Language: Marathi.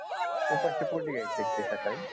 उपाशी पोटी घ्यायच आहे का ते सकाळी